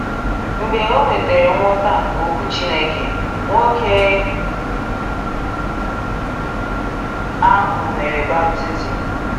Mgbe o nwetara nghọta nke Okwu Chineke, nwoke ahụ mere baptizim.